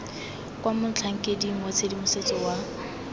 kwa motlhankeding wa tshedimosetso wa